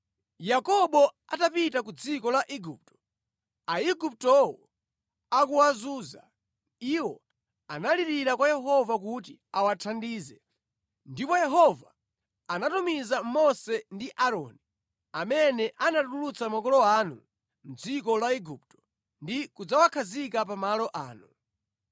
“Yakobo atapita ku dziko la Igupto, Aiguptowo akuwazunza, iwo analirira kwa Yehova kuti awathandize, ndipo Yehova anatumiza Mose ndi Aaroni, amene anatulutsa makolo anu mʼdziko la Igupto ndi kudzawakhazika pa malo ano.